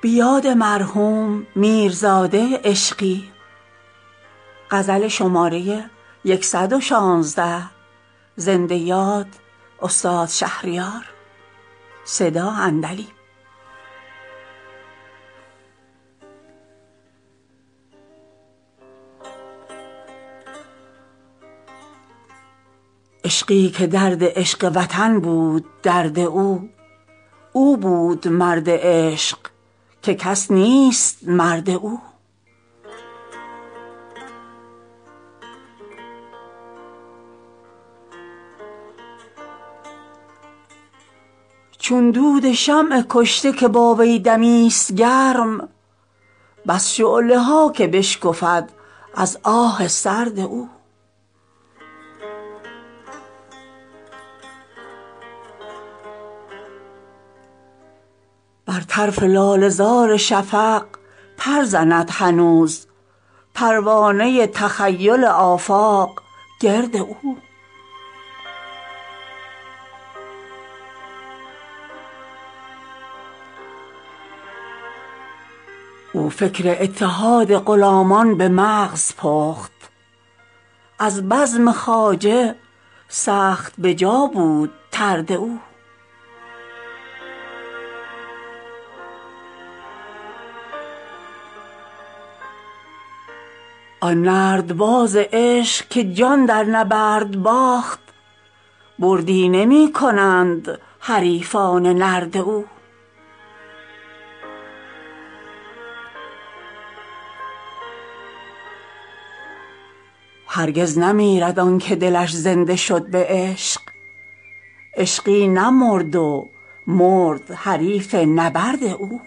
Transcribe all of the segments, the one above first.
عشقی که درد عشق وطن بود درد او او بود مرد عشق که کس نیست مرد او چون دود شمع کشته که با وی دمی ست گرم بس شعله ها که بشکفد از آه سرد او بر طرف لاله زار شفق پر زند هنوز پروانه تخیل آفاق گرد او او فکر اتحاد غلامان به مغز پخت از بزم خواجه سخت به جا بود طرد او آن نردباز عشق که جان در نبرد باخت بردی نمی کنند حریفان نرد او هرگز نمیرد آنکه دلش زنده شد به عشق عشقی نمرد و مرد حریف نبرد او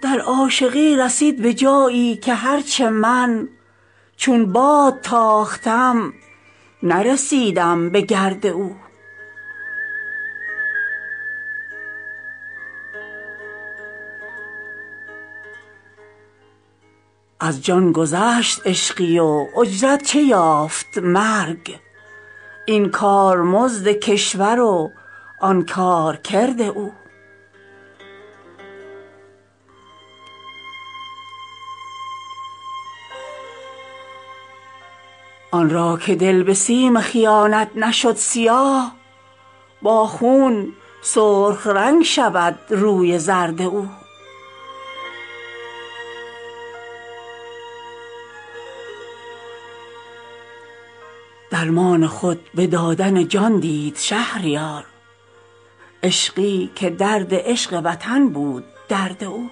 در عاشقی رسید به جایی که هرچه من چون باد تاختم نرسیدم به گرد او کشتی عشق را نرسد تخته بر کنار موج جنون شکافته دریانورد او از جان گذشت عشقی و اجرت چه یافت مرگ این کارمزد کشور و آن کارکرد او آن را که دل به سیم خیانت نشد سیاه با خون سرخ رنگ شود روی زرد او درمان خود به دادن جان دید شهریار عشقی که درد عشق وطن بود درد او